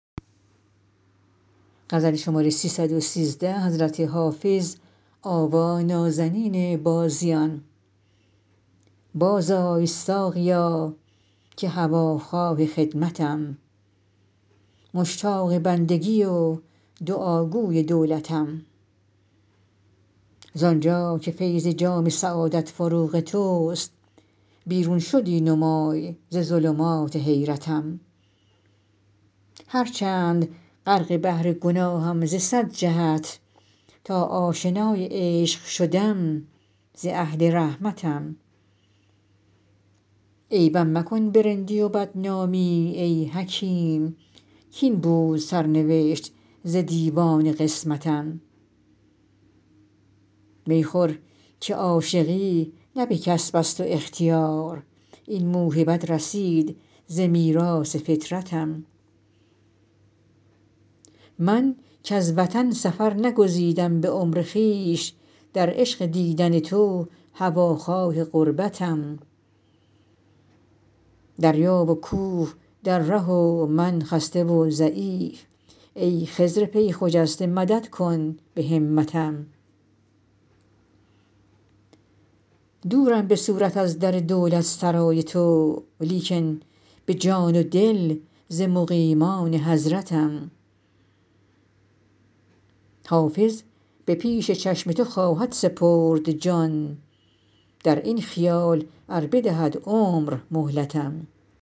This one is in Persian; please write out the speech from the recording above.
بازآی ساقیا که هواخواه خدمتم مشتاق بندگی و دعاگوی دولتم زان جا که فیض جام سعادت فروغ توست بیرون شدی نمای ز ظلمات حیرتم هرچند غرق بحر گناهم ز صد جهت تا آشنای عشق شدم ز اهل رحمتم عیبم مکن به رندی و بدنامی ای حکیم کاین بود سرنوشت ز دیوان قسمتم می خور که عاشقی نه به کسب است و اختیار این موهبت رسید ز میراث فطرتم من کز وطن سفر نگزیدم به عمر خویش در عشق دیدن تو هواخواه غربتم دریا و کوه در ره و من خسته و ضعیف ای خضر پی خجسته مدد کن به همتم دورم به صورت از در دولتسرای تو لیکن به جان و دل ز مقیمان حضرتم حافظ به پیش چشم تو خواهد سپرد جان در این خیالم ار بدهد عمر مهلتم